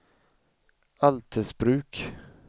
Altersbruk